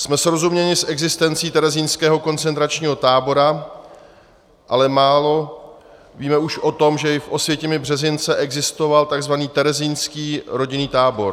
Jsme srozuměni s existencí terezínského koncentračního tábora, ale málo víme už o tom, že i v Osvětimi-Březince existoval tzv. terezínský rodinný tábor.